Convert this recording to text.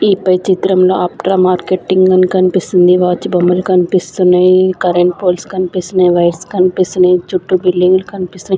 ఈ పై చిత్రంలో ఆప్త్ర మార్కెటింగ్ అని కనిపిస్తుంది వాచ్ బొమ్మలు కనిపిస్తున్నాయి కరెంట్ పోల్స్ కనిపిస్తున్నాయి వైర్స్ కనిపిస్తున్నాయి చుట్టూ బిల్డింగ్లు కనిపిస్తునాయి.